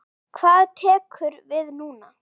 Hvað tekur við núna?